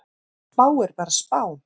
Spá er bara spá.